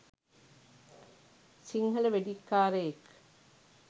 Sinhala වෙඩික්කාරයෙක්